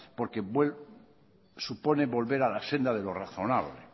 porque supone volver a la senda de lo razonable